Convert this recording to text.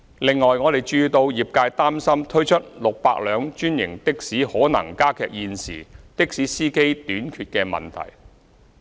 此外，我們注意到業界擔心推出600輛專營的士可能加劇現時的士司機短缺的問題。